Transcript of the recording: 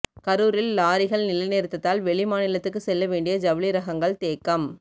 கரூரில் லாரிகள் நிலைநிறுத்தத்தால் வெளிமாநிலத்துக்கு செல்ல வேண்டிய ஜவுளி ரகங்கள் தேக்கம்